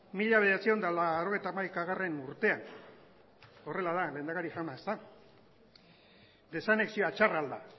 mila bederatziehun eta laurogeita hamaikagarrena urtean horrela da lehendakari jauna ezta desanexioa txarra al da